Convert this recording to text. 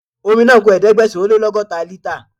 Omi náà ku Ẹ̀ẹ́dẹ̀gbẹ̀sán-ó-lé-lọ́gọ́ta lítà.